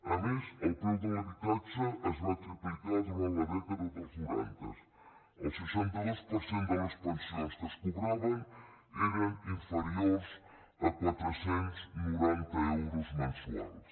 a més el preu de l’habitatge es va triplicar durant la dècada dels noranta el seixanta dos per cent de les pensions que es cobraven eren inferiors a quatre cents i noranta euros mensuals